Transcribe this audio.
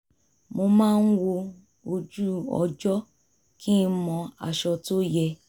mo máa wo ojú-ọjọ kí n mọ aṣọ tó yẹ